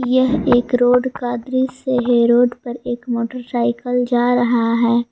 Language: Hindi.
यह एक रोड का दृश्य से है रोड पर एक मोटरसाइकल जा रहा है।